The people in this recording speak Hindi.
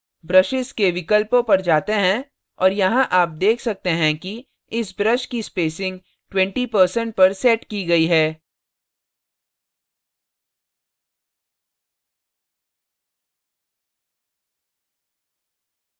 brushes के विकल्पों पर जाते हैं और यहाँ आप let सकते हैं कि इस brush की spacing 20% पर set की गई है